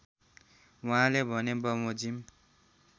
वहाँले भने बमोजिम